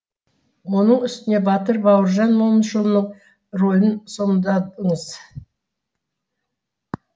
оның үстіне батыр бауыржан момышұлының рөлін сомдаңыз